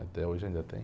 Até hoje ainda tem.